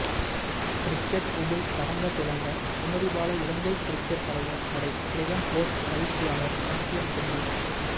cricket Upul Tharanga Thilanga Sumathipala Ilangai cricket தலைவர் தடை Graham Ford பயிற்சியாளர் சம்பியன் கிண்ணம்